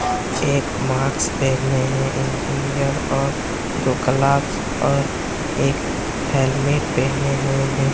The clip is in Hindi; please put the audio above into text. एक मास्क पहने है इंजीनियर और दो ग्लप्स और एक हेलमेट पेहने हुए है।